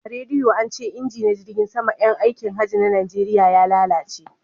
A rediyo ance inji na jirgin sama yan aikin hajjin najeriya ya lalace